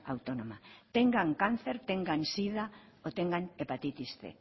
autónoma tengan cáncer tengan sida o tengan hepatitis cien